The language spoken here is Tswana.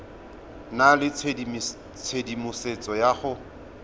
nna le tshedimosetso ya go